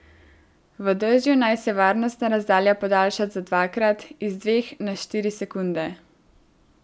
V dežju naj se varnostna razdalja podaljša za dvakrat, iz dveh na štiri sekunde.